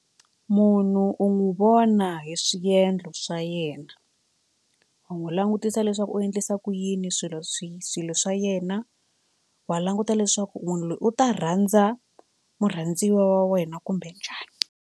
Munhu u n'wi vona hi swiendlo swa yena u n'wi langutisa leswaku u endlisa ku yini swilo swi swilo swa yena wa languta leswaku munhu loyi u ta rhandza murhandziwa wa wena kumbe njhani.